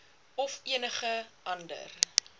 of enige ander